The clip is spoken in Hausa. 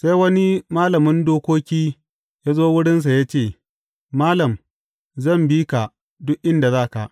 Sai wani malamin dokoki ya zo wurinsa ya ce, Malam, zan bi ka duk inda za ka.